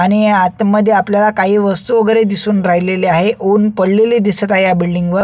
आणि आतमध्ये आपल्याला काही वस्तु वेगेरे दिसून राहिलेल्या आहे ऊन पडलेले दिसून येत आहे या बिल्डिंगवर .